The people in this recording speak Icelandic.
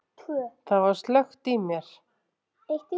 Það var slökkt í mér.